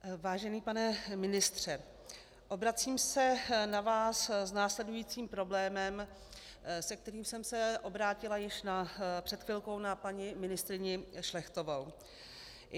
Vážený pane ministře, obracím se na vás s následujícím problémem, se kterým jsem se obrátila již před chvilkou na paní ministryni Šlechtovou.